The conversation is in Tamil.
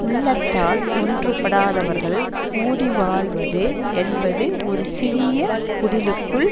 உள்ளத்தால் ஒன்றுபடாதவர்கள் கூடி வாழ்வது என்பது ஒரு சிறிய குடிலுக்குள்